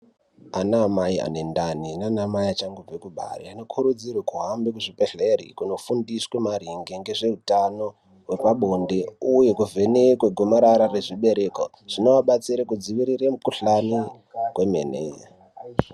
Anamai anendani nanamai achangobve kubara anokurudzirwa kuhambe kuzvibhedhlere kunofundiswa maringe ngezveutano hwepabonde uye kuvhenekwe gomarara rezvibereko. Zvinoadetsera kudziirira mukhuhlani kwemene.